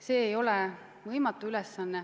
See ei ole võimatu ülesanne.